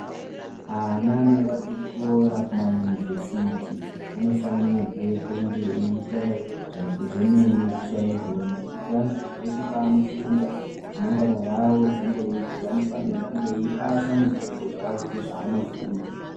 Ana anoende kuchikora kumayunivhesiti anofanirwa kunga eita zvemene chaizvona kuitirana kuti peshe paanofunda remangwana ravo rizonge reijeka anofanirwe kunge eipasa muzvidzidzo zvavo zveshe zvaanofunda.